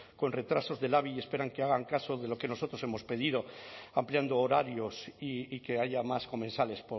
con retrasos de labi y esperan que hagan caso de lo que nosotros hemos pedido ampliando horarios y que haya más comensales